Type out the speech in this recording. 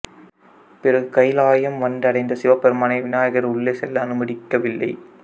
பிறகு கயிலாயம் வந்தடைந்த சிவபெருமானை விநாயகர் உள்ளே செல்ல அனுமதிக்கவில்லை